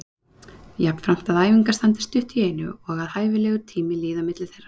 Jafnframt að æfingar standi stutt í einu og að hæfilegur tími líði á milli þeirra.